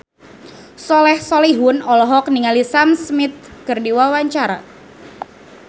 Soleh Solihun olohok ningali Sam Smith keur diwawancara